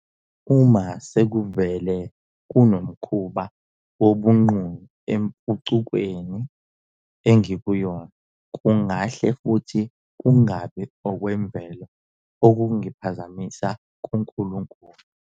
Uma sekuvele kunomkhuba wobunqunu empucukweni engikuyona, kungahle futhi kungabi okwemvelo ukungiphazamisa kuNkulunkulu.